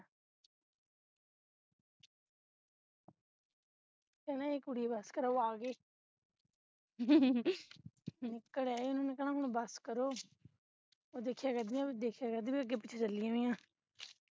ਉਹਨਾਂ ਨੇ ਕਹਿਣਾ ਏਹ ਕੁੜੀਓ ਬਸ ਕਰੋ ਓਹੋ ਆ ਗਏ ਨਿਕਲ ਆਏ ਉਹਨਾਂ ਨੇ ਕਰਨਾ ਬਸ ਕਰੋ ਉਹ ਦੇਖਿਆ ਕਰਦੀਆਂ ਦੇਖਿਆ ਕਰਦੀ ਅਗੇ ਪਿਛੇ ਚਲੀ ਵੀ ਆਂ